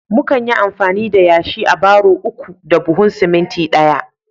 mukan yi amfani da yashi a barro uku da buhun siminti ɗaya